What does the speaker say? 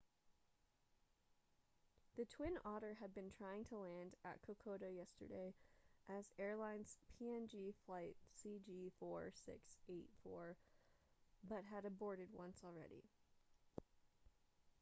the twin otter had been trying to land at kokoda yesterday as airlines png flight cg4684 but had aborted once already